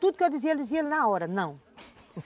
Tudo que eu dizia ele dizia na hora, não.